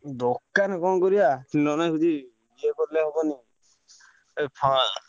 ଦୋକାନ କଣ କରିବା ଇଏ କଲେ ହବନି